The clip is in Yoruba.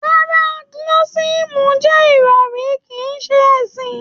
Rárá, Gnotisísìm jẹ́ ìròrí kìí ṣe ẹ̀sìn.